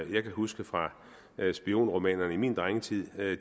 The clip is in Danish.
jeg kan huske fra spionromanerne i min drengetid